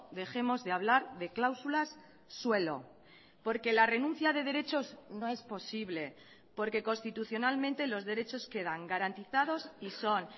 dejemos de hablar de cláusulas suelo porque la renuncia de derechos no es posible porque constitucionalmente los derechos quedan garantizados y son